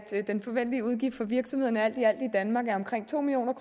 den forventelige udgift for virksomhederne alt i alt i danmark er omkring to million